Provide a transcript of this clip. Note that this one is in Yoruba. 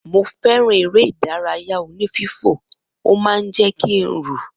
Mo feran eré ìdárayá oní fífò ó man jé kín rù